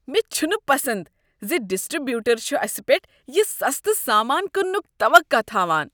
مےٚ چھنہٕ پسند ز ڈسٹری بیوٹر چھ اسہ پیٹھ یہ سستہٕ سامان کٕننٕک توقع تھاوان۔